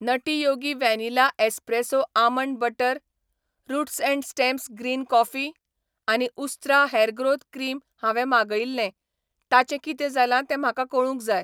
Nutty Yogi vanilla espresso almond butter, roots and stems green coffee आनी Ustraa hair growth cream हांवें मागयिल्लें ताचें कितें जालां ते म्हाका कळूंक जाय.